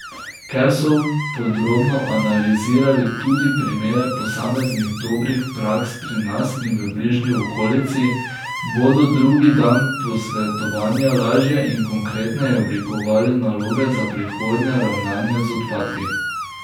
Ker so podrobno analizirali tudi primere posameznih dobrih praks pri nas in v bližnji okolici, bodo drugi dan posvetovanja lažje in konkretneje oblikovali naloge za prihodnje ravnanje z odpadki.